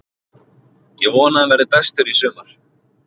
Ég vona að hann verði bestur í sumar.